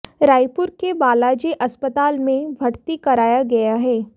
रायपुर के बालाजी अस्पताल में भर्ती कराया गया है